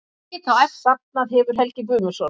Safnað hefur Helgi Guðmundsson.